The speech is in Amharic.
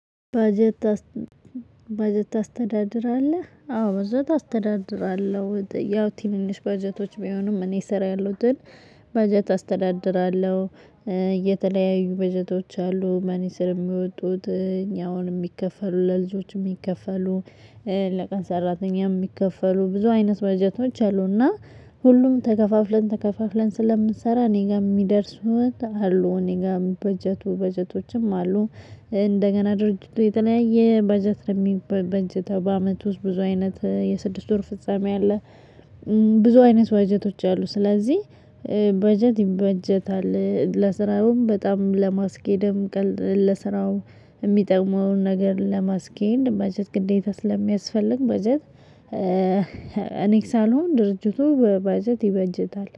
በጀት ታስተዳድራለህ አዎ በጀት አስተዳድራለሁ ወደ ያው ቲሚኒሽ ባጀቶች ቢሆኑም እኔ ስራ ያለው ደል በጀት አስተዳድራለሁ። እየተለያዩ በጀቶች አሉ መኒ ስር የሚወጡት እኛ አሁን የሚከፈሉ ለልጆችም የሚከፈሉ ለቀን ሰራተኛም የሚከፈሉ ብዙ አይነት በጀቶች አሉና። ሁሉም ተከፋፍለን ተከፋፍለን ስለምንሰራ እኔ ጋር የሚደርሱት አሉ እኔ ጋር በጀቱ በጀቶችም አሉ። እንደገና ድርጅቱ የተለያየ በጀት ነው የሚበንጭተው በአመቱ ውስጥ ብዙ አይነት የስድስት ወር ፍጻሜ አለ። ብዙ አይነት ባጀቶች አሉ። ስለዚህ ባጀት ይባጀታል ለስራውም በጣም ለማስኬድም ቀልድ ለስራው የሚጠቅመውን ነገር ለማስኬድ መጀመሪያ ግዴታ ስለሚያስፈልግ መጀመሪያ። በጀት እኔ ሳልሆን ድርጅቱ ባጀት ይበጀታል